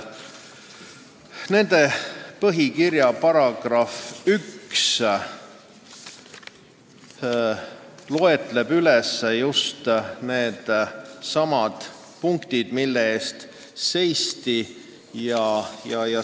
Nende põhikirja § 1 loetleb needsamad punktid, mille eest seisti.